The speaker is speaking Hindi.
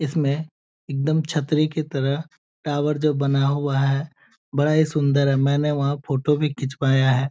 इसमें एकदम छतरी के तरह टावर जो बना हुआ है बड़ा ही सुन्दर है। मैंने वहाँ फोटो भी खिचवाया है।